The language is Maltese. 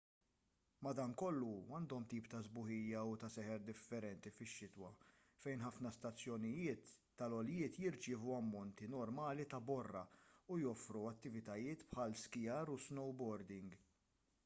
madankollu għandhom tip ta' sbuħija u ta' seħer differenti fix-xitwa fejn ħafna stazzjonijiet tal-għoljiet jirċievu ammonti normali ta' borra u joffru attivitajiet bħal skijar u snowboarding